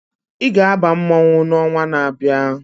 Ị ga-aba mmọnwụ n'ọnwa na-abịa!